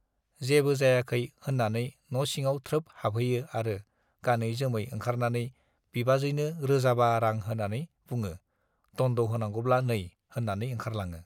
जेबो जायाखै - होन्नानै न' सिङाव थ्रोब हाबहैयो आरो गानै-जोमै ओंखारनानै बिबाजैनो रोजाबा रां होनानै बुङो, दन्द' होनांगौब्ला नै - होन्नानै ओंखारलाङो।